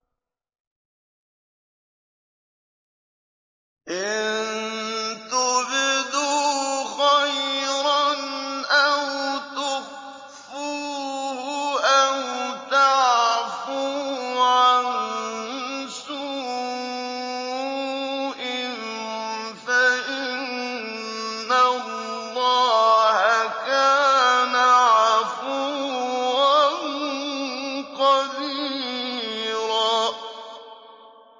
إِن تُبْدُوا خَيْرًا أَوْ تُخْفُوهُ أَوْ تَعْفُوا عَن سُوءٍ فَإِنَّ اللَّهَ كَانَ عَفُوًّا قَدِيرًا